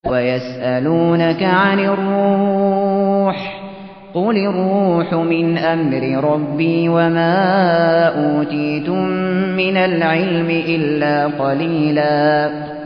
وَيَسْأَلُونَكَ عَنِ الرُّوحِ ۖ قُلِ الرُّوحُ مِنْ أَمْرِ رَبِّي وَمَا أُوتِيتُم مِّنَ الْعِلْمِ إِلَّا قَلِيلًا